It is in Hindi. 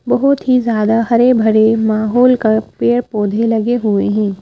बहुत ही ज्यादा हरे भरे माहौल का पेड़ पौधे लगे हुए हैं ।